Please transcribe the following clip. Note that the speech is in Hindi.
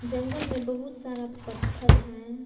जंगल में बहुत सारा पत्थल है।